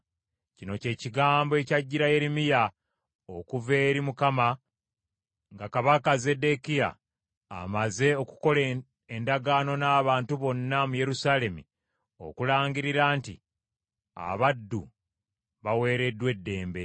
Kino kye kigambo ekyajjira Yeremiya okuva eri Mukama nga kabaka Zeddekiya amaze okukola endagaano n’abantu bonna mu Yerusaalemi okulangirira nti abaddu baweereddwa eddembe.